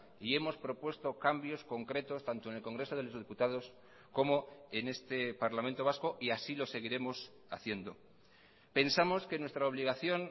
y hemos propuesto cambios concretos tanto en el congreso de los diputados como en este parlamento vasco y así lo seguiremos haciendo pensamos que nuestra obligación